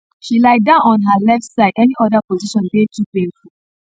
she lie down on her left side any oda position dey too painful